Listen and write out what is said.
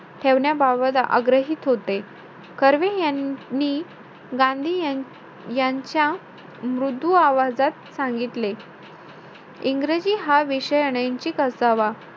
ठेवण्याबाबत आग्रहीत होते. कर्वे यांनी गांधी यान~ यांच्या मृदू आवाजात सांगितले. इंग्रजी हा विषय अनैणशीक असावा.